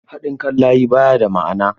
Haɗin kai akan layi ba ya da ma'ana.